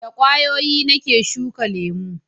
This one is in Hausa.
da ƙwayoyi na ke shuka lemo